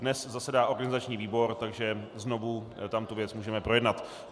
Dnes zasedá organizační výbor, takže znovu tam tu věc můžeme projednat.